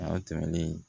A y'a tɛmɛlen ye